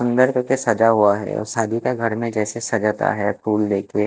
अंदर करके सजा हुआ है और शादी का घर में जैसे सजाता है फूल लेके--